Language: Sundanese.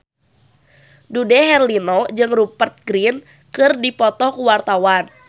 Dude Herlino jeung Rupert Grin keur dipoto ku wartawan